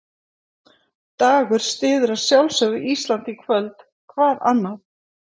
Dagur styður að sjálfsögðu Ísland í kvöld, hvað annað?